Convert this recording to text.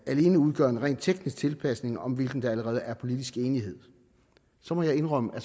alene udgør en rent teknisk tilpasning om hvilken der allerede er politisk enighed så må jeg indrømme at